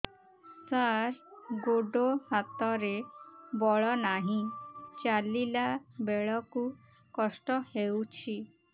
ସାର ଗୋଡୋ ହାତରେ ବଳ ନାହିଁ ଚାଲିଲା ବେଳକୁ କଷ୍ଟ ହେଉଛି